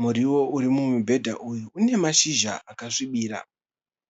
Muriwo uri mumubhedha uyu une mashizha akasvibira.